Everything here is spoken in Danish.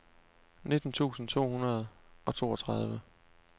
nitten tusind to hundrede og toogtredive